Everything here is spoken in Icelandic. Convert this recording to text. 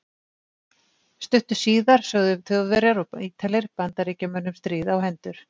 Stuttu síðar sögðu Þjóðverjar og Ítalir Bandaríkjamönnum stríð á hendur.